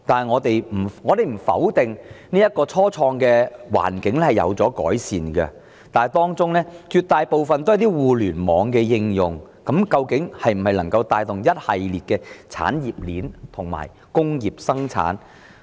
我們不否定初創的環境已有所改善，但這些企業的性質絕大部分均為互聯網的應用，究竟能否帶動一系列的產業鏈發展及工業生產？